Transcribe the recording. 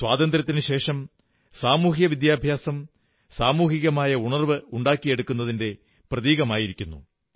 സ്വാതന്ത്ര്യത്തിനുശേഷം സാമൂഹിക വിദ്യാഭ്യാസം സാമൂഹികമായ ഉണർവ്വ് സൃഷ്ടിക്കുക എന്നിവയുടെ പ്രതീകമായിരിക്കുന്നു